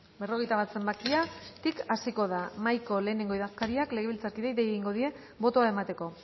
berrogeita bat zenbakitik hasiko da mahaiko lehenengo idazkariak legebiltzarkideei dei egingo die botoa emateko